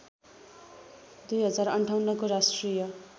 २०५८ को राष्ट्रिय